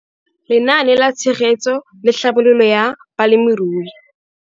Lenaane la Tshegetso le Tlhabololo ya Balemirui.